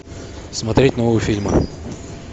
смотреть новые фильмы